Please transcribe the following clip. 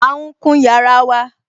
À ún kun yàrá wa